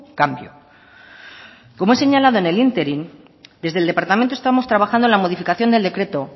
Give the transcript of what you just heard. cambio como he señalado en el ínterin desde el departamento estamos trabajando en la modificación del decreto